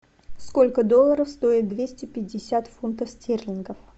сколько долларов стоит двести пятьдесят фунтов стерлингов